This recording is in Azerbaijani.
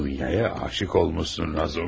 Dunyaya aşiq olmusan Razumixin.